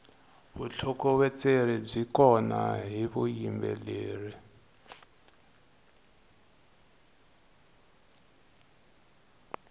vutlhokovetseri byi kona hi vuyimbeleri